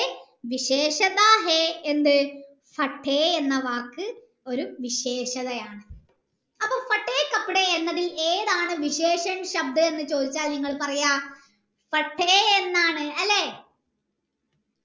എന്ത് എന്ന വാക് ഒരു വിശേഷതായാണ് അപ്പൊ എന്നത് ഏതാണ് എന്ന ചോയിച്ചാൽ ഇങ്ങള് പറയാ എന്നാണ് അല്ലെ